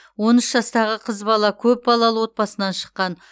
он үш жастағы қыз бала көпбалалы отбасынан шыққан